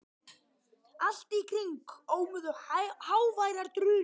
Allt í kring ómuðu háværar drunur.